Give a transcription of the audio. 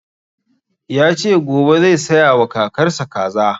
Ya ce gobe zai saya wa kakar sa kaza